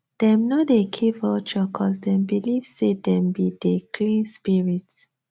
dem no dey kill vulture coz dem believe say dem be dey clean spirit